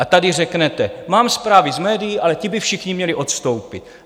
A tady řeknete: Mám zprávy z médií, ale ti by všichni měli odstoupit.